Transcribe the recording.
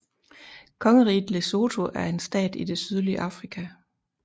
Kongeriget Lesotho er en stat i det sydlige Afrika